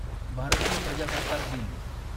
भारतीय प्रजासत्ताक दिन